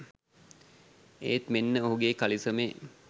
ඒත් මෙන්න ඔහුගෙ කලිසමේ